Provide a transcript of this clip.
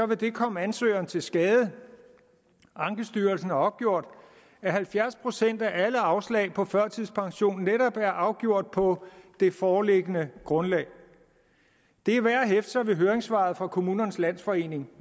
det komme ansøgeren til skade ankestyrelsen har opgjort at halvfjerds procent af alle afslag på førtidspension netop er afgjort på det foreliggende grundlag det er værd at hæfte sig ved høringssvaret fra kommunernes landsforening